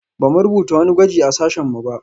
Ba mu rubuta wani gwaji a sashen mu ba